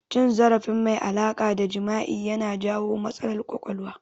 Cin zarafi mai alaƙa da jima'i ya na jawo matsalar ƙwaƙwalwa